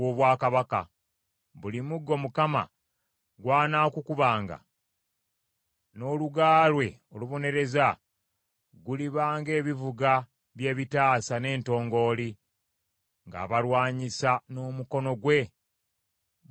Buli muggo Mukama gw’anakukubanga n’oluga lwe olubonereza, guliba ng’ebivuga by’ebitaasa n’entongooli, ng’abalwanyisa n’omukono gwe mu ntalo.